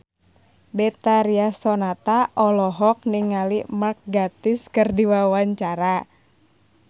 Betharia Sonata olohok ningali Mark Gatiss keur diwawancara